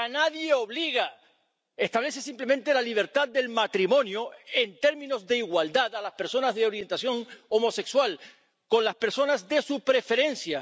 ¡Que a nadie obliga! Establece simplemente la libertad del matrimonio en términos de igualdad para las personas de orientación homosexual con las personas de su preferencia.